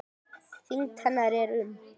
Þyngd hennar er um